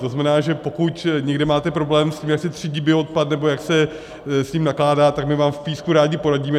To znamená, že pokud někde máte problém s tím, jak se třídí bioodpad nebo jak se s ním nakládá, tak my vám v Písku rádi poradíme.